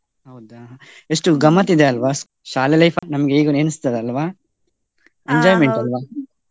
ಹೌದಾ? ಎಷ್ಟು ಗಮ್ಮತ್ ಇದೆ ಅಲ್ವಾ ಶಾಲೆ life ನಮ್ಗೆ ಈಗ್ಲೂ ನೆನಿಸ್ತದೆ ಅಲ್ವಾ ?